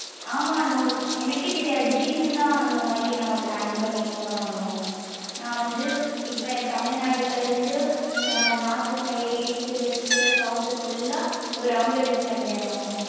ஆமா அனு. எனக்கே தெரியாது திடீர்னு தான் இந்தமாரி நாங்க plan பண்ணி போனோம் அனு. நா வந்து இப்ப தமிழ்நாடுல இருந்து நம்ம north side east west south full லா ஒரு round அடிசுட்டு வந்துட்டேன் அனு.